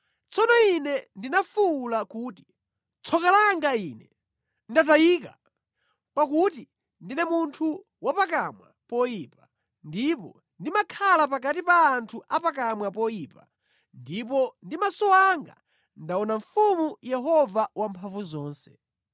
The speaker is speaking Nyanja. Tsono ine ndinafuwula kuti, “Tsoka langa ine! Ndatayika! Pakuti ndine munthu wapakamwa poyipa, ndipo ndimakhala pakati pa anthu a pakamwa poyipa, ndipo ndi maso anga ndaona mfumu Yehova Wamphamvuzonse.”